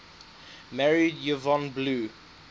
married yvonne blue